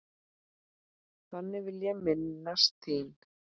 Þannig vil ég minnast þín.